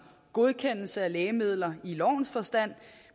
godkendelse af lægemidler i lovens forstand